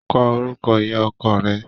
Kọ orúkọ ìyá ọkọ rẹ.